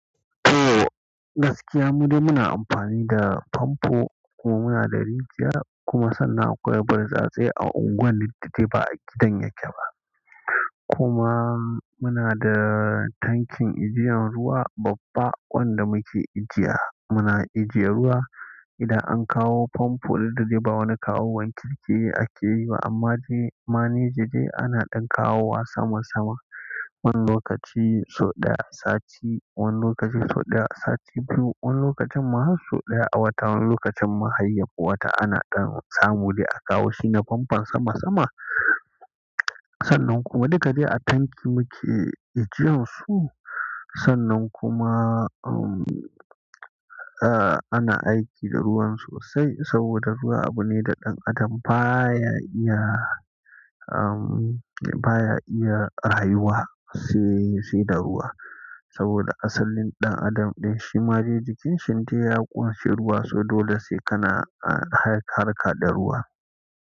To gaskiya, mu dai muna amfani da famfo kuma muna da rijiya kuma sannan akwai burtsatse a unguwar ni duk dai ba a gidan yake ba. Kuma muna da tankin ajiyan ruwa babba wanda muke ajiya. Muna ajiye ruwa, idan an kawo famfo duk da dai ba wani kawowan kirki ake yi ba amma dai, maneji dai ana ɗan kawo wa sama sama. Wani lokaci sau ɗaya a sati, wani lokaci sau ɗaya a sati biyu, wani lokacin ma har sau ɗaya a wata. Wani lokacin ma hayya yafi wata ana ɗan samu dai akawo shi na famfon sama sama. Sannan kuma duka dai a tanki muke ajiyan su. Sannan kuma, um, eh ana aiki da ruwan sosai saboda ruwa abu ne da ɗan adam baya iya, um, baya iya rayuwa sai, sai da ruwa. Saboda asalin ɗan adam ɗin shi ma dai jikin shi dai ya ƙunshi ruwa so dole sai kana, a harka da ruwa.